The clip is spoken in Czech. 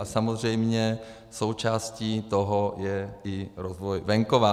A samozřejmě součástí toho je i rozvoj venkova.